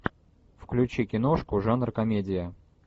включи киношку жанр комедия